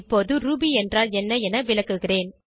இப்போது ரூபி என்றால் என்ன என விளக்குகிறேன்